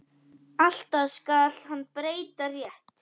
Alltaf skal hann breyta rétt.